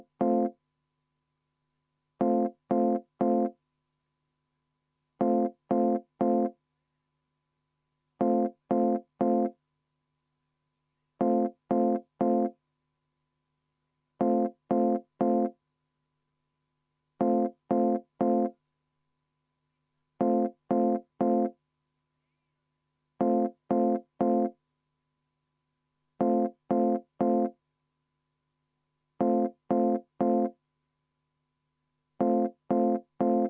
Äkki võtaks viis minutit vaheaega ja teeks selle asja päris lõplikult selgeks?